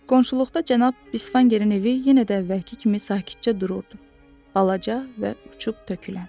Qonşuluqda cənab Bisvangerin evi yenə də əvvəlki kimi sakitcə dururdu, balaca və uçub tökülən.